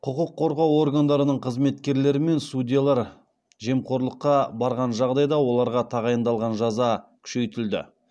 құқық қорғау органдарының қызметкерлері мен судьялар жемқорлыққа барған жағдайда оларға тағайындалған жаза күшейтілді